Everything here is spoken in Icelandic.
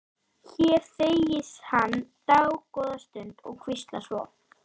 Hér þegir hún dágóða stund og hvíslar svo